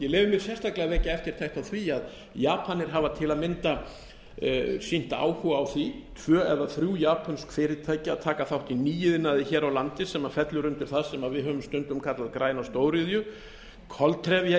leyfi mér sérstaklega að vekja eftirtekt á því að japan hafa til að mynda sýnt áhuga á því tvö eða þrjú japönsk fyrirtæki að taka þátt í nýiðnaði hér á landi sem fellur undir það sem við höfum stundum kallað að græða á stóriðju